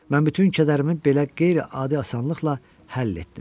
Mən bütün kədərimi belə qeyri-adi asanlıqla həll etdim.